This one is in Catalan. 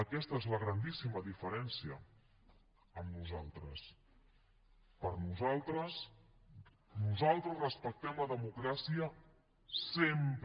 aquesta és la grandíssima diferencia amb nosaltres nosaltres respectem la democràcia sempre